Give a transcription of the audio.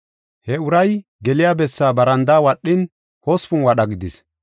He uray geliya bessaa barandaa wadhin, hospun wadha gidis.